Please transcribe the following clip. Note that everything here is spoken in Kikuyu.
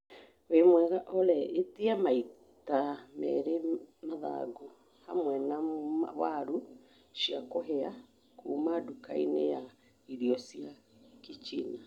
wĩ mwega Olly etia maita merĩ mathagu hamwe na warũ cia kũhĩa kuuma ndukainĩ ya irio cia kichina